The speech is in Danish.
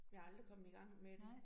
Ja aldrig kommet i gang med det